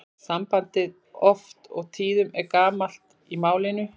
Sambandið oft og tíðum er gamalt í málinu.